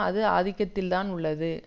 அது ஆதிக்கத்தில் தான் உள்ளது